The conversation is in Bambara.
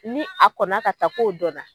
Ni a kɔnna ka taa k'o dɔnna